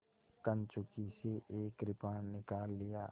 कंचुकी से एक कृपाण निकाल लिया